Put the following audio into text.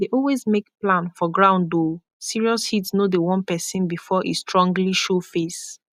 dey always make plan for ground o serious heat no dey warn person before e strongly show face